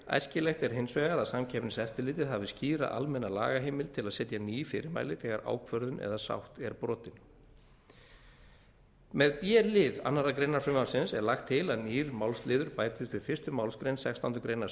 æskilegt er hins vegar að samkeppniseftirlitið hafi skýra almenna lagaheimild til að setja ný fyrirmæli þegar ákvörðun eða sátt er brotin með b lið annarrar greinar frumvarpsins er lagt til að nýr málsliður bætist við fyrstu málsgrein sextándu grein